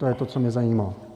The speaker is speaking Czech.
To je to, co mě zajímá.